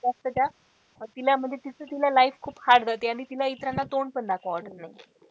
जास्त त्या तिला म्हणजे तीच तिला life खूप hard जाते आणि तिला इतरांना तोंड पण दाखवावं वाटत नाही.